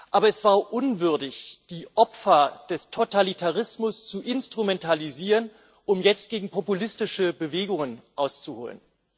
Aber es war unwürdig, die Opfer des Totalitarismus zu instrumentalisieren, um jetzt gegen populistische Bewegungen auszuholen.